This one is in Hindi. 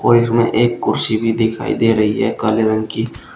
और इसमें एक कुर्सी भी दिखाई दे रही है काले रंग की--